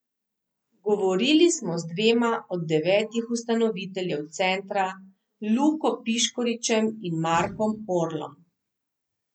Govorili smo z dvema od devetih ustanoviteljev centra, Luko Piškoričem in Markom Orlom.